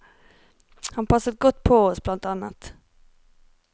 Han passet godt på oss, bl.